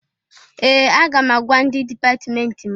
Ee! Aga m agwa ndị dipatmenti m.